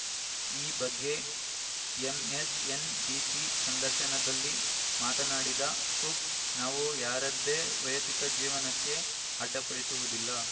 ಈ ಬಗ್ಗೆ ಎಂಎಸ್‌ಎನ್‌ಬಿಸಿ ಸಂದರ್ಶನದಲ್ಲಿ ಮಾತನಾಡಿದ ಕುಕ್‌ ನಾವು ಯಾರದ್ದೇ ವೈಯಕ್ತಿಕ ಜೀವನಕ್ಕೆ ಅಡ್ಡಿಪಡಿಸುವುದಿಲ್ಲ